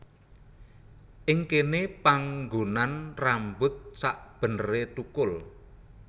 Ing kéné panggonan rambut sakbeneré tukul